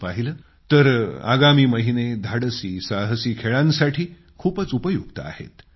तसं पाहिलं तर आगामी महिने धाडसी साहसी खेळांसाठी खूपच उपयुक्त आहेत